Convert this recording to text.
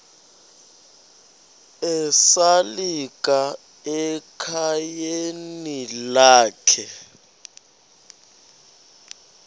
esalika ekhayeni lakhe